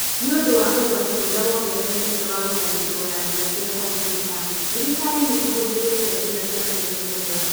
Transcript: Nĩ ũndũ wa ũgwati ũrĩa wongererekete wa gũtharĩkĩrũo na njĩra cia kompiuta, thirikari nĩ ĩhũthĩrĩte njĩra cia kwĩmenyerera.